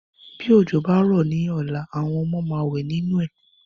Bí òjò bá rọ ní ọ̀la, àwọn ọmọ máa wẹ ninu ẹ